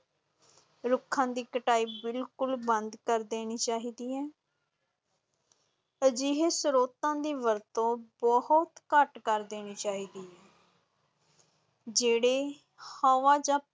ਰੁੱਖਾਂ ਦੀ ਕਟਾਈ ਬਿਲਕੁਲ ਬੰਦ ਕਰ ਦੇਣੀ ਚਾਹੀਦੀ ਹੈ ਅਜਿਹੇ ਸਰੋਤਾਂ ਦੀ ਵਰਤੋਂ ਬਹੁਤ ਘੱਟ ਕਰ ਦੇਣੀ ਚਾਹੀਦੀ ਹੈ ਜਿਹੜੇ ਹਵਾ ਜਾਂ